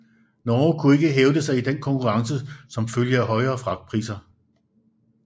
Norge kunne ikke hævde sig i den konkurrence som følge af højere fragtpriser